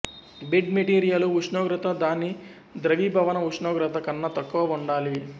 bed మెటీరియలు ఉష్ణోగ్రత దాని ద్రవీభవన ఉష్ణోగ్రత కన్న తక్కువ వుండాలి